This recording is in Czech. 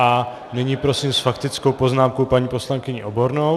A nyní prosím s faktickou poznámkou paní poslankyni Obornou.